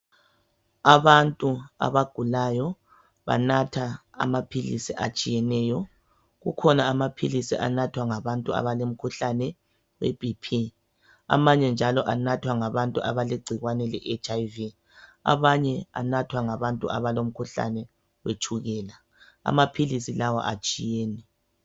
Abantu abagulayo banatha amaphilisi atshiyeneyo. Kukhona amaphilisi anathwa ngabantu abalemikhuhlane yebp. Amanye njalo anathwa ngabantu abalegcikwane le HIV. Amanye anathwa ngabantu abalomkhuhlane wetshukela. Amaphilisi lawa atshiyene.